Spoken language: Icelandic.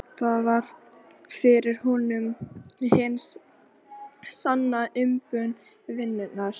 Það var fyrir honum hin sanna umbun vinnunnar.